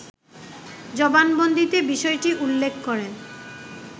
জবানবন্দিতে বিষয়টি উল্লেখ করেন